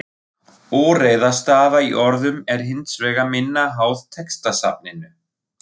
Óreiða stafa í orðum er hins vegar minna háð textasafninu.